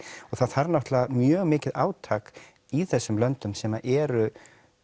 og það þarf náttúrulega mjög mikið átak í þessum löndum sem eru